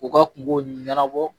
U ka kun kow ɲɛnabɔ.